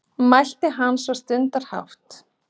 mælti hann svo stundarhátt.